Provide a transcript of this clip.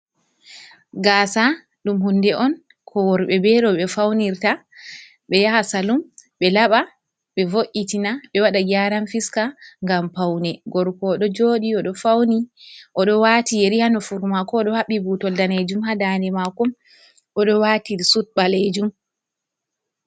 Gaasa, ɗum huunde on ko worɓe bee rewɓe fawnirta, ɓe yaha salum ɓe laɓa, ɓe wo’itina ɓe waɗa geeran fiska, ngam pawne. Gorko o ɗo jooɗii, o ɗo waati yeri haa nofuru maako,o ɗo haɓɓi buutol daaneejum haa daade maako, o ɗo waati sud ɓaleejum.